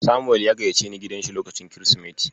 Samuel ya gayyaceni gidansa lokacin Kirsimeti.